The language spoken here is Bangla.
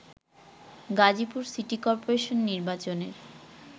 গাজীপুর সিটি কর্পোরেশন নির্বাচনের